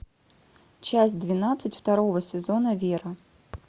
часть двенадцать второго сезона вера